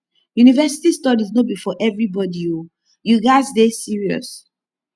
university studies no be for everybodi o you gats dey serious